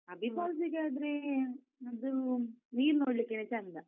Abbey falls ಗೆ ಆದ್ರೇ, ಅದೂ ನೀರ್ ನೋಡ್ಲಿಕ್ಕೆನೆ ಚೆಂದ.